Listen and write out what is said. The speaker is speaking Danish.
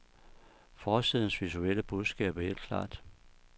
Forsidens visuelle budskab er helt klart.